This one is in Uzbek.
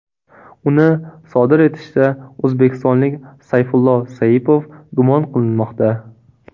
Uni sodir etishda o‘zbekistonlik Sayfullo Saipov gumon qilinmoqda .